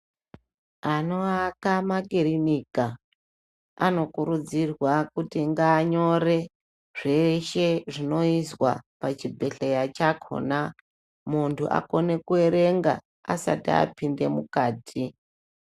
Anoaka makirinika anokurudzirwa kuti ngaanyore zveshe zvinoizwa pachibhehlera chakona munhu akone kuerenga asati apinde mukati.